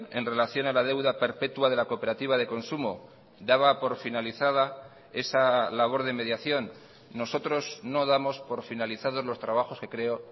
en relación a la deuda perpetua de la cooperativa de consumo daba por finalizada esa labor de mediación nosotros no damos por finalizados los trabajos que creo